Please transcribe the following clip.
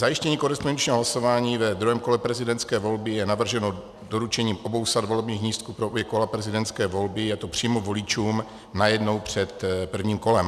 Zajištění korespondenčního hlasování ve druhém kole prezidentské volby je navrženo doručením obou sad volebních lístků pro obě kola prezidentské volby, je to přímo voličům najednou před prvním kolem.